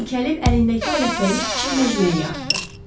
O dikəlib əlindəki alətləri kiçik məcməyə atdı.